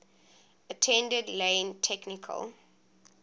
attended lane technical